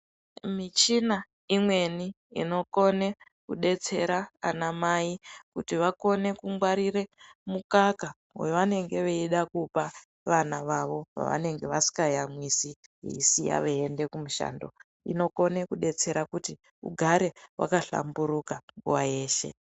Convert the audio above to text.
Michina imweni inokone kudetsera ana mai, kuti vakone kungwarira mukaka wavanenge veyida kupa vana vavo, vavanenge vasikayamwisi veyisiya veyienda kumushando, inokone kudetsera kuti ugare wakahlamburuka nguwa yeshe.